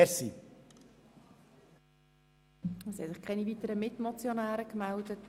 Es haben sich keine weiteren Mitmotionäre bei mir gemeldet.